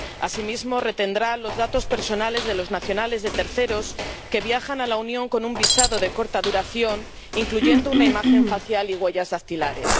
Asimismo, retendrá los datos personales de los nacionales de terceros que viajan a la Unión con un visado de corta duración, incluidas una imagen facial y huellas dactilares.